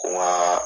Wa